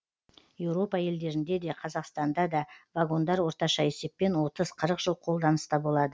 еуропа елдерінде де қазақстанда да вагондар орташа есеппен отыз қырық жыл қолданыста болады